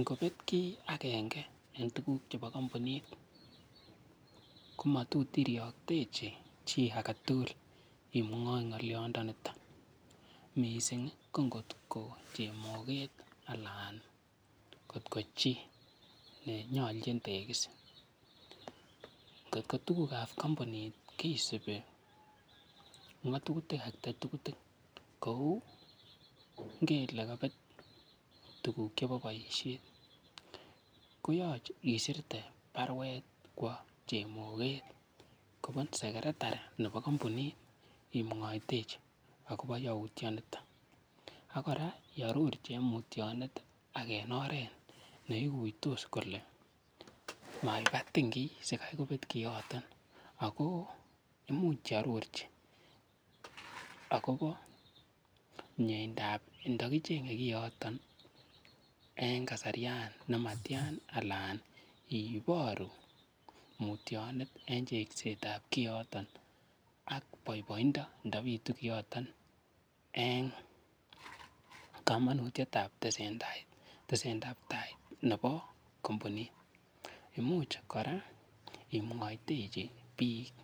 Ngobet kiy agenge eng tukuk chebo kampunit komatot iriokctechi chii agetugul imwoi ng'oliondo niton mising ko ngotko chemoket ala kotkochi nenyolchin tegis kotko tukuk ap kampunit kesupi ngatutik atketugul kou ng'ele kapet tukuk chebo boishet koyochei isirte baruet kwo chemokoet kopun secretarit nebo kompunit imuoitechi akobo youtuonito akora yo rutionet ak en oret neiguitos kole maibatin kiy sikaykopet koyoton ako imuch iarorchi akobo mieindap ndokichenye koyoton eng kasarian nematian ala iboru mutionet eng chengset ap koyoton ak boiboindo ndobitu koyoton eng komonutiet ap tesene tai nebo kompunit muuch kora imwoitechi biik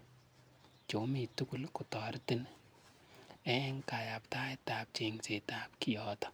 chomi tugul kotoretin eng kayaptaet ap chengset ap koyoton.